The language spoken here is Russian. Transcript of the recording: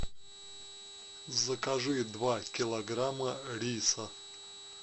закажи два килограмма риса